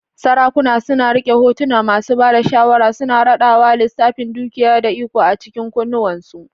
Sarakuna suna riƙe kotu, masu ba da shawara suna radawa lissafin dukiya da iko a cikin kunnuwansu.